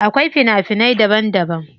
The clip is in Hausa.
Akwai fina finai daban daban.